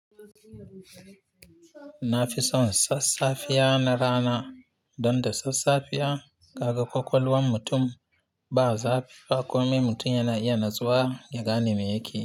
Nafison sassafiya na rana, donda sassafiya kaga kwakwalwan mutum ba zafi ba, komai mutum yana iya natsuwa ya gane me yakeyi.